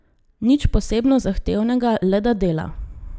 Nič posebno zahtevnega, le da dela.